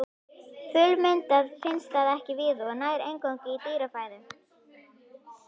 Fullmyndað finnst það ekki víða og nær eingöngu í dýrafæðu.